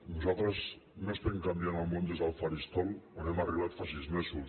nosaltres no estem canviant el món des del faristol on hem arribat fa sis mesos